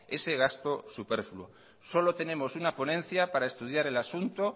ese gasto superfluo solo tenemos una ponencia para estudiar el asunto